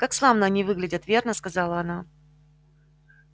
как славно они выглядят верно сказала она